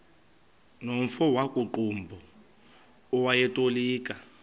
nomfo wakuqumbu owayetolika